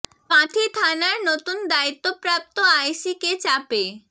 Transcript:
কাঁথি থানার নতুন দায়িত্ব প্রাপ্ত আই সি কে চাপে